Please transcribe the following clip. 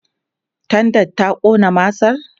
tendan ta Ƙona masar?